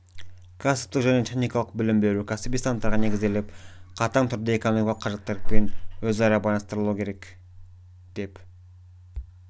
кәсіптік және техникалық білім беру кәсіби стандарттарға негізделіп қатаң түрде экономикалық қажеттіліктерімен өзара байланыстырылуы керек деп